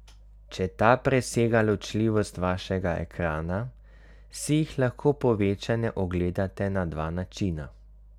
Če ta presega ločljivost vašega ekrana, si jih lahko povečane ogledate na dva načina.